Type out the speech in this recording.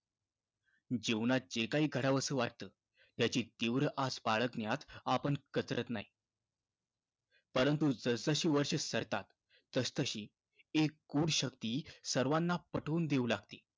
जीवनात जे काही करावंसं वाटतं त्याची तीव्र आस बाळगण्यात आपण कचरत नाही. परंतु, जसजशी वर्षं सरतात तसतशी एक गूढ शक्ती सर्वांना पटवून देऊ लागते